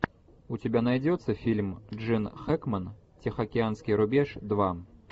у тебя найдется фильм джин хэкмен тихоокеанский рубеж два